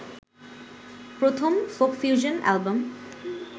প্রথম folk fusion album